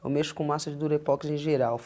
Eu mexo com massa durepoxi em geral.